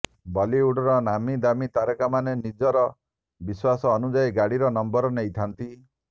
ବଲିଉଡର ନାମୀ ଦାମୀ ତାରକାମାନେ ନିଜର ବିଶ୍ୱାସ ଅନୁଯାୟୀ ଗାଡିର ନମ୍ବର ନେଇଥାନ୍ତି